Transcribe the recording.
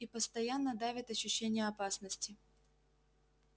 и постоянно давит ощущение опасности